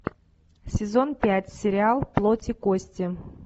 сезон пять сериал плоть и кости